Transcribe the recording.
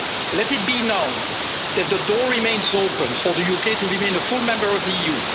Let it be known that the door remains open for the UK to remain a full member of the